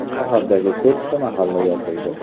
Shahardagi to‘rtta mahalla yopildi.